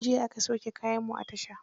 Jiya aka sauke kayanmu a tasha.